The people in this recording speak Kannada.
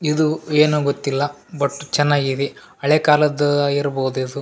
ಇದು ಏನೋ ಗೊತ್ತಿಲ್ಲ ಬಟ್ ಚನ್ನಾಗಿದೆ ಹಳೇಕಾಲದ್ ಆಗಿರಬೌದ್ ಇದ್.